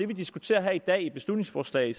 vi diskuterer her i dag i beslutningsforslag